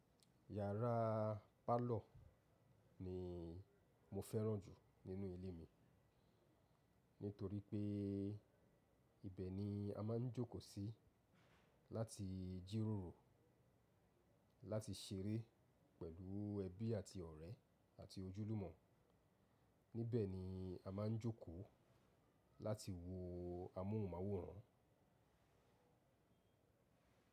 Yàrá parlour ni mo fẹ́ràn jù nínú ilé mi. Nítorí pé ibẹ̀ ni a máa ń jókòó sí láti jíròrò, láti ṣeré pẹ̀lú ẹbí àti ọ̀rẹ́ àti ojúlùmọ̀. Níbẹ̀ ni a máa ń jókòó láti wo amóhùnmáwòrán.